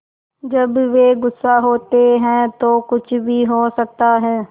जब वे गुस्सा होते हैं तो कुछ भी हो सकता है